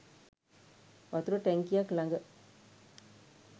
වතුර ටැංකියක් ළඟ